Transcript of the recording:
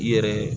I yɛrɛ